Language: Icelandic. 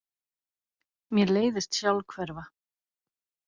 Mér leiðist sjálfhverfa.